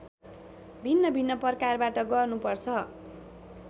भिन्नभिन्न प्रकारबाट गर्नुपर्छ